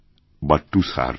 boot to serve